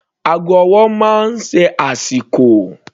Ago ọwọ́ máa ń àsìkò.